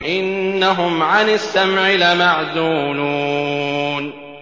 إِنَّهُمْ عَنِ السَّمْعِ لَمَعْزُولُونَ